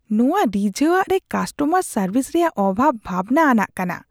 ᱱᱚᱶᱟ ᱨᱤᱡᱷᱟᱹᱣᱟᱜ ᱨᱮ ᱠᱟᱥᱴᱚᱢᱟᱨ ᱥᱟᱨᱵᱷᱤᱥ ᱨᱮᱭᱟᱜ ᱚᱵᱷᱟᱵ ᱵᱷᱟᱵᱽᱱᱟ ᱟᱱᱟᱜ ᱠᱟᱱᱟ ᱾